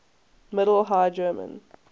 middle high german